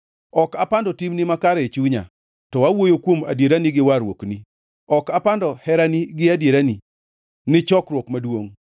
Ok apando timni makare e chunya; to awuoyo kuom adierani gi warruokni. Ok apando herani gi adierani ni chokruok maduongʼ.